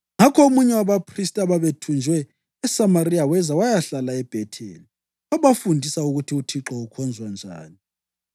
Ngakho omunye wabaphristi ababethunjwe eSamariya weza wayahlala eBhetheli wabafundisa ukuthi uThixo ukhonzwa njani?